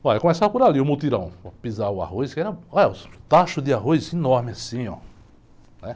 Olha, eu começava por ali, o mutirão, pisava o arroz, que era, olha, o tacho de arroz enorme assim, olha.